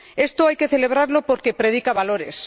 Esto hay que celebrarlo porque predica valores.